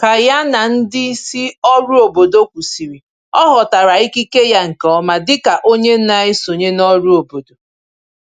Ka ya na ndị isi òrụ́ obodo kwụsịrị, ọ ghọtara ikike ya nke ọma dịka onye na-esonye n’ọrụ obodo